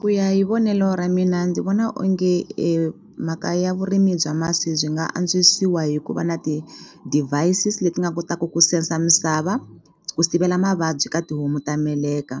Ku ya hi vonelo ra mina ndzi vona onge mhaka ya vurimi bya masi byi nga antswisiwa hi ku va na ti-devices leti nga kotaka ku sensor misava ku sivela mavabyi ka tihomu ta meleka